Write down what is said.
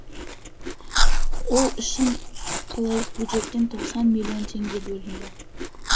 ол үшін қалалық бюджеттен тоқсан миллион теңге бөлінді